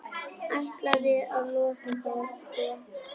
Ætlaði að losa það, sko.